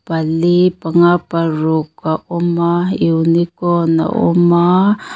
pali panga paruk a awm a unicorn a awm a.